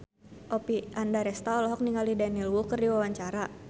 Oppie Andaresta olohok ningali Daniel Wu keur diwawancara